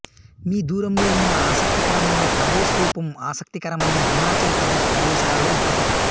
మీ దూరంలో ఉన్న ఆసక్తికరమైన తబో స్థూపం ఆసక్తికరమైన హిమాచల్ ప్రదేశ్ ప్రదేశాలలోఒకటి